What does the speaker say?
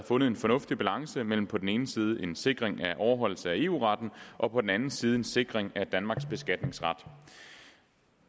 fundet en fornuftig balance mellem på den ene side en sikring af overholdelse af eu retten og på den anden side en sikring af danmarks beskatningsret